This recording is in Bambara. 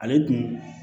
Ale dun